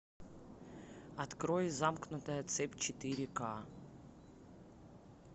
открой замкнутая цепь четыре ка